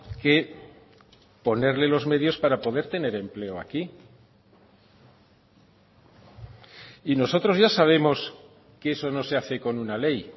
que ponerle los medios para poder tener empleo aquí y nosotros ya sabemos que eso no se hace con una ley